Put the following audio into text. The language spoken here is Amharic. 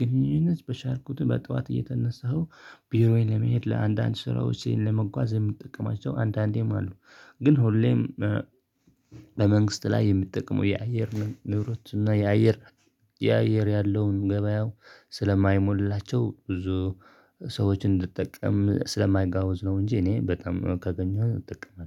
ግንኙነት በቻልኩት በጠዋት እየተነሳሁ ቢሮዬን ለመሄድ ለአንዳንድ ስራዎች ለመጓዝ የምጠቀማቸው አንዳንዴም አሉ። ግን ሁሌም እ ለመንግስት ላይ የሚጠቅመው የአየር ንብረት እና የአየር- የአየር ያለውን ገበያው ስለማይሞላላቸው ብዙ ሰዎችን እንድትጠቀም ስለማያጋውዝ ነው እንጂ እኔ በጣም ካገኘሁኝ ጥቅም ነው።